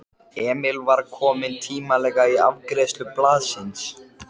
Emil var kominn tímanlega í afgreiðslu blaðsins.